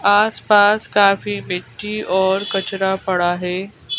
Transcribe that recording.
आस-पास काफी मिट्टी और कचरा पड़ा है।